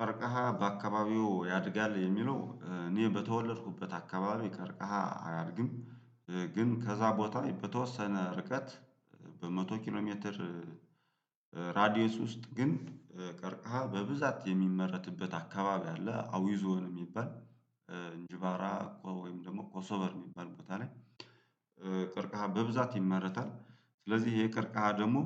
ቀርቀሃ በአካባቢው ያድጋል የሚለው እኔ በተወለድኩበት አካባቢው ቀርቀሃ አያድግም። ግን ከዛ ቦታ በተወሰነ ርቀት በመቶ ኪሎ ሜትር። ራዲየስ ውስጥ ግን ቀርከሃ በብዛት የሚመረትበት አካባቢ አለ አዊዞን። እንጅባራ እኮ ወይም ደግሞ ኮሶቨር የሚባል ቦታ ላይ ቀርከሃ በብዛት ይመረታል። ስለዚህ ይሄ የቀርቀሃ ደግሞ